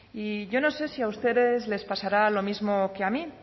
y yo no sé si a ustedes les pasará lo mismo que a mí